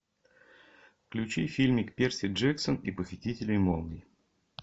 включи фильмик перси джексон и похититель молний